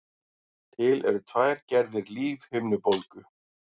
Til eru tvær gerðir lífhimnubólgu.